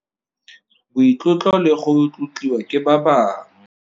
Boitlotlo le go tlotliwa ke ba bangwe.